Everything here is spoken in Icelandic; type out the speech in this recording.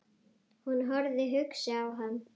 Hún horfði hugsi á hann.